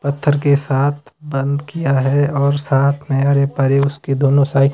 पत्थर के साथ बंद किया है और साथ में उसके दोनों--